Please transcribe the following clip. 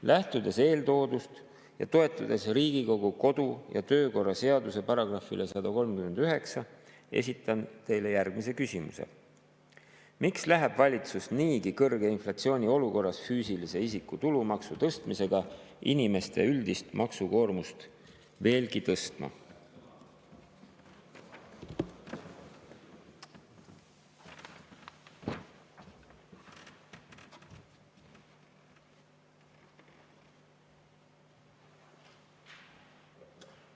Lähtudes eeltoodust ja toetudes Riigikogu kodu‑ ja töökorra seaduse §‑le 139, esitan järgmise küsimuse: miks läheb valitsus niigi kõrge inflatsiooni olukorras füüsilise isiku tulumaksu tõstmisega inimeste üldist maksukoormust veelgi tõstma?